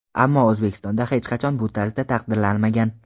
Ammo O‘zbekistonda hech qachon bu tarzda taqdirlanmagan.